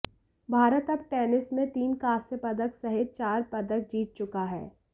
भारत अब टेनिस में तीन कांस्य पदक सहित चार पदक जीत चुका है